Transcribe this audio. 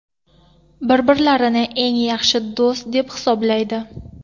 Bir-birlarini eng yaxshi do‘st deb hisoblaydi.